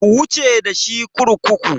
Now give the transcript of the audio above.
Ku wuce dashi kurkuku!